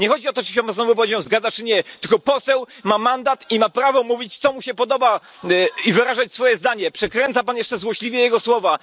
Nie chodzi o to, czy się pan z moją wypowiedzią zgadza, czy nie, tylko poseł ma mandat i ma prawo mówić, co mu się podoba, i wyrażać swoje zdanie. Przekręca pan jeszcze złośliwie jego słowa.